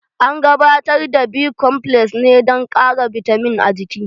An gabatar da B komfles ne dan ƙara bitamin a jiki